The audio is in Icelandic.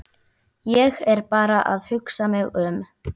Ég er bara að hugsa mig um.